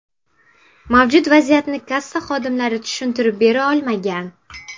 Mavjud vaziyatni kassa xodimlari tushuntirib bera olmagan.